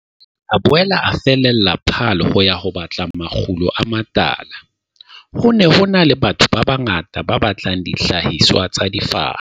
mme a boela a fallela Paarl ho ya batla makgulo a matala. "Ho ne ho na le batho ba bangata ba batlang dihlahiswa tsa difaha."